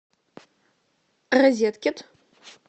розеткед